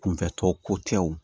Kunfɛtɔ ko tɛ o